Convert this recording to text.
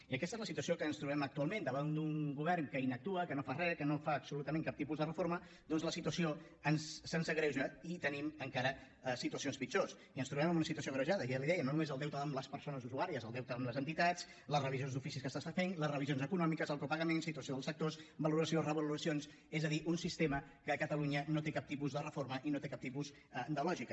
i aquesta és la situació que ens trobem actualment davant d’un govern que inactua que no fa re que no fa absolutament cap tipus de reforma doncs la situació se’ns agreuja i tenim encara situacions pitjors i ens trobem amb una situació agreujada ja li ho deia no només el deute amb les persones usuàries el deute amb les entitats les revisions d’oficis que s’estan fent les revisions econòmiques el copagament situació dels sectors valoració revaloracions és a dir un sistema que a catalunya no té cap tipus de reforma i no té cap tipus de lògica